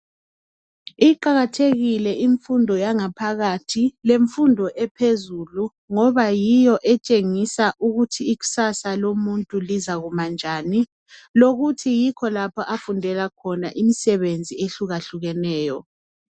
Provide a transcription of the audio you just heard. Iqakathekile yangaphakathi ,lemfundo ephezulu ngoba yiyo etshengisa ukuthi ikusasa lomuntu lizakuma njani. Lokuthi yikho lapha afundela khona imisebenzi ehlukahlukeneyo.